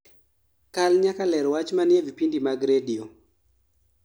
kal nyaka ler weche manie vipindi mag radio